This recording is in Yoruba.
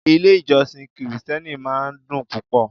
Ilé-ìjọsìn Kirìtẹ́nì máa ń dùn púpò.